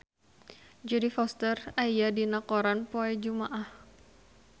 Jodie Foster aya dina koran poe Jumaah